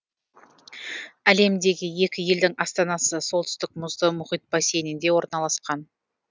әлемдегі екі елдің астанасы солтүстік мұзды мұхит бассейнінде орналасқан